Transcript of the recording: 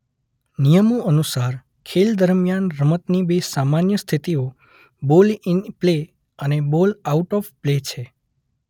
નિયમો અનુસાર ખેલ દરમિયાન રમતની બે સામાન્ય સ્થિતિઓ બોલ ઇન પ્લે અને બોલ આઉટ ઓફ પ્લે છે.